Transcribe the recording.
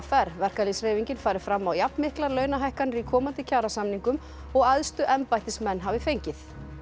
r verkalýðshreyfingin fari fram á jafnmiklar launahækkanir í komandi kjarasamningum og æðstu embættismenn hafi fengið